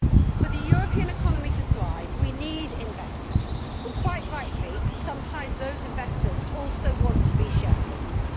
For the European economy to thrive, we need investors and, quite rightly, sometimes those investors also want to be shareholders.